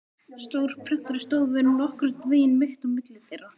Stór prentari stóð svo nokkurn veginn mitt á milli þeirra.